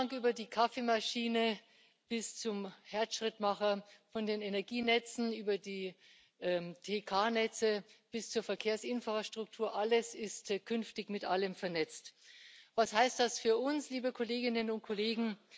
Vom Kühlschrank über die Kaffeemaschine bis zum Herzschrittmacher, von den Energienetzen über die TK Netze bis zur Verkehrsinfrastruktur alles ist künftig mit allem vernetzt. Was heißt das für uns, liebe Kolleginnen und Kollegen?